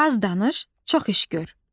Az danış, çox iş gör.